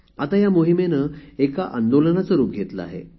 आता या मोहीमेने एका आंदोलनाचे रूप घेतले आहे